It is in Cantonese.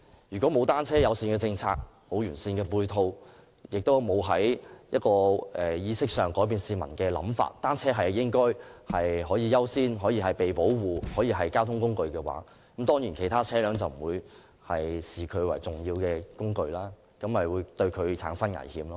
如果欠缺單車友善政策和完善的配套，亦未能從意識上改變市民的想法，即單車屬優先、受到保護的交通工具，其他車輛當然不會視它為重要的工具，因而對它產生危險。